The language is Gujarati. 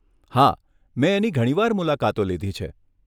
હા, મેં એની ઘણીવાર મુલાકાતો લીધી છે.